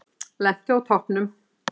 Lenti á toppnum